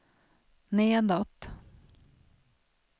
nedåt